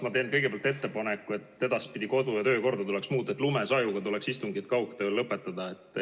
Me teen kõigepealt ettepaneku, et edaspidi tuleks kodu- ja töökorda nii muuta, et lumesajuga istungid kaugtööl lõpetatakse.